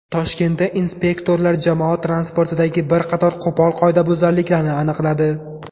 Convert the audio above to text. Toshkentda inspektorlar jamoat transportidagi bir qator qo‘pol qoidabuzarliklarni aniqladi.